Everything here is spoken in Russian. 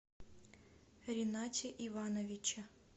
ринате ивановиче